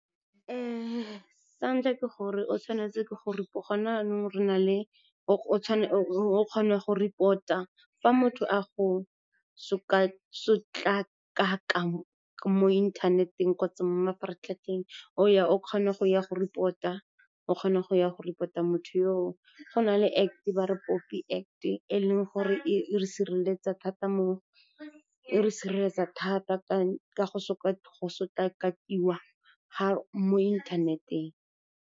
Sa ntlha ke gore o kgona go report-a fa motho a go sotlakaka mo inthaneteng kgotsa mo mafaratlhatlheng, o kgona go ya go report-a motho yo o. Go na le Act, ba re POPI Act, e leng gore e re sireletsa thata ka go sotlakakiwa mo inthaneteng.